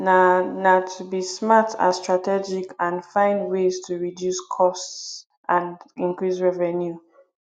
na na to be smart and strategic and find ways to reduce costs and increase revenue